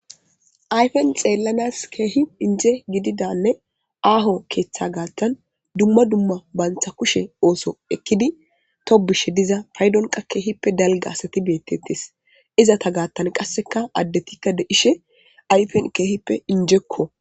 ayfen xeellanas keehi inje gididanne aaho keeththa gaattan dumma dumma bantha kushe ooso ekkidi tobishe diza paydonqa keehippe dalga asati beettettis izata gaattan qasseka addetikka de ishe ayfen keehippe injekko